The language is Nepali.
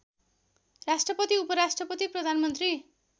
राष्ट्रपति उपराष्ट्रपति प्रधानमन्त्री